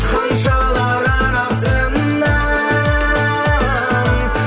ханшалар арасынан